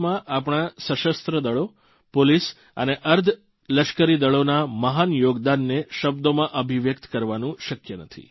દેશના વિકાસમાં આપણા સશસ્ત્રદળો પોલીસ અને અર્ધલશ્કરીદળોના મહાન યોગદાનને શબ્દોમાં અભિવ્યક્ત કરવાનું શક્ય નથી